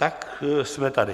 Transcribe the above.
Tak jsme tady.